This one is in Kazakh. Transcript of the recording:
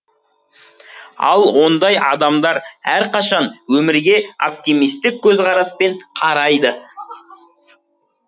ал ондай адамдар әрқашан өмірге оптимистік көзқараспен қарайды